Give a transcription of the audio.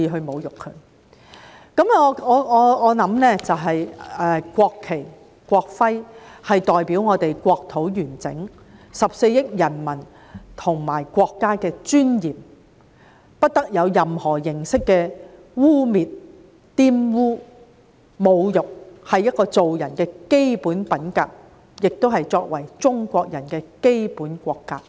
我認為國旗、國徽代表了我們國土的完整、14億人民和國家的尊嚴，不得受到任何形式的污衊和侮辱，這是做人的基本品格，也是作為中國人的基本國格。